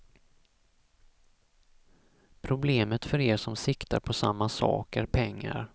Problemet, för er som siktar på samma sak, är pengar.